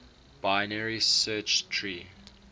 binary search tree